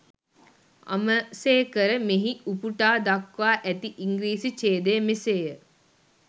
අමසේකර මෙහි උපුටා දක්වා ඇති ඉංග්‍රීසි ඡේදය මෙසේය.